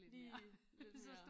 Lige lidt mere